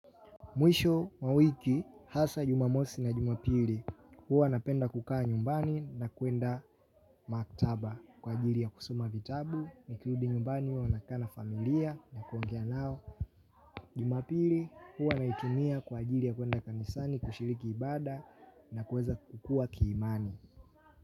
Mwisho, mwa wiki, hasa jumamosi na jumapili, huwa napenda kukaa nyumbani na kuenda maktaba kwa ajili ya kusoma vitabu, nikirudi nyumbani huwa nakaa na familia na kuongea nao. Jumapili, huwa naitumia kwa ajili ya kuenda kanisani, kushiriki ibada na kuweza kukua kiimani.